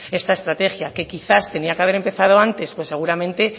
esta estrategia que quizás tendría que haber empezado antes pues seguramente